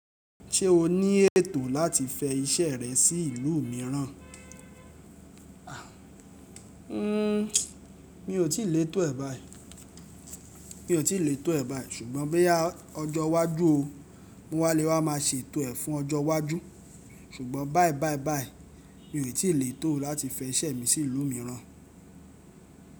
Ṣé o ní ètò láti fẹ iṣẹ́ rẹ sí ìlú mìíràn? Mi ò tíì lè tò ẹ̀ báí, ṣùgbọ́n bóyá ọjọ́ wá jù ó, mo wá le wá máa ṣe ètò ẹ fún ọjọ́ wá jù. Ṣùgbọ́n báyìí báyìí báyìí mi ò tí létò láti fẹ iṣẹ́ mi sí ìlú mìíràn.